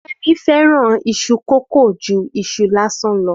Femi fẹ́ràn iṣu kókò ju iṣu lásán lọ.